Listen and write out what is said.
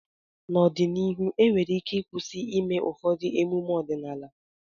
n'ọdịnihu enwere ike ịkwụsị ịme ụfọdụ emume ọdịnaala